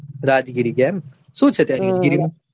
રાજ્ગીરી ગયા એમમ શું છે ત્યાં